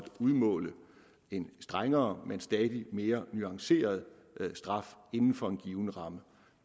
udmåle en strengere men stadig mere nuanceret straf inden for en given ramme